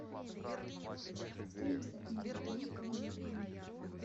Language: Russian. стоимость обмена рубля на юань